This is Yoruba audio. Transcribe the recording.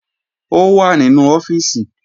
Ó wà nínú ọ́fíìsì